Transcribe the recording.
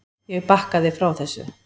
Ég bakkaði frá þessu.